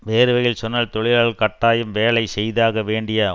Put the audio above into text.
வேறு வகையில் சொன்னால் தொழிலாளர்கள் கட்டாயம் வேலை செய்தாக வேண்டிய